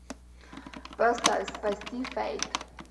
поставь спасти фэйт